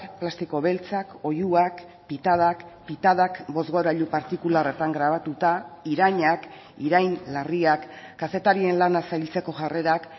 plastiko beltzak oihuak pitadak pitadak bozgorailu partikularretan grabatuta irainak irain larriak kazetarien lana zailtzeko jarrerak